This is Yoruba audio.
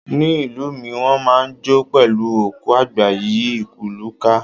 Ní ìlú mi, wón máa ń jó pẹ̀lú òkú àgbà yí ìlú ká.